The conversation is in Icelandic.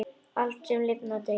Allt, sem lifnar, deyr.